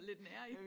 Lidt nærige